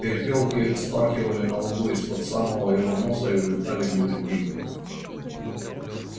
перепёлки вспархивали на лугу из под самого его носа и улетали невредимыми